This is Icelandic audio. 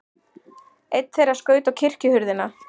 Einn þeirra skaut á kirkjuhurðina.